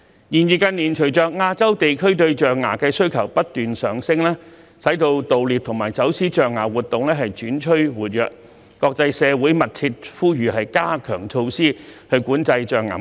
然而，近年隨着亞洲地區對象牙的需求不斷上升，盜獵和走私象牙活動轉趨活躍，國際社會密切呼籲加強措施管制象牙貿易。